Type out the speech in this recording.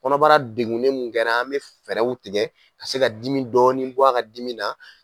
Kɔnɔbara degunen min kɛra an bɛ fɛɛrɛw tigɛ ka se ka dimi dɔɔni b'a ka dimi na.